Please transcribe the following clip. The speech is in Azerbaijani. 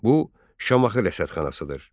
Bu Şamaxı rəsədxanasıdır.